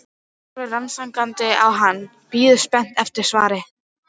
Eva horfir rannsakandi á hann, bíður spennt eftir svari.